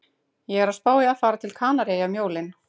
Ég er að spá í að fara til Kanaríeyja um jólin